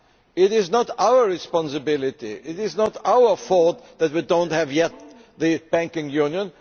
it is not our responsibility it is not our fault that we do not yet have the Banking Union.